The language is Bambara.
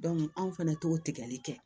anw fɛnɛ t'o tigɛli kɛ